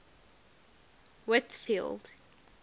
whitfield